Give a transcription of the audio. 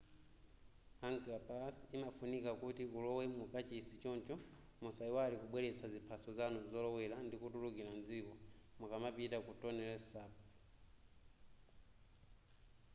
angkor pass imafunika kuti ulowe mu kachisi choncho musayiwale kubweletsa ziphaso zanu zolowela ndi kutulukila m'dziko mukamapita ku tonle sap